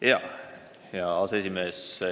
Hea aseesimees!